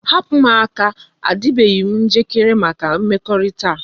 Hapu m aka! a dibeghi njikere maka mmekorita a